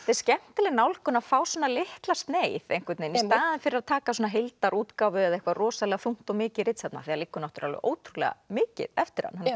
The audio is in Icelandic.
skemmtileg nálgun að fá svona litla sneið einhvern veginn í staðinn fyrir að taka heildarútgáfu eða rosalega þungt og mikið ritsafn það liggur ótrúlega mikið eftir hann hann er